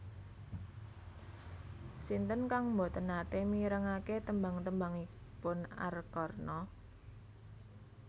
Sinten kang mboten nate mirengake tembang tembangipun Arkarna